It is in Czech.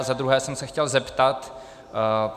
A za druhé jsem se chtěl zeptat.